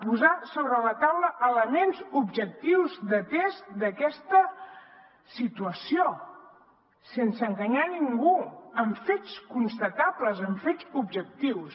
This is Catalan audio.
posem sobre la taula elements objectius de test d’aquesta situació sense enganyar ningú amb fets constatables amb fets objectius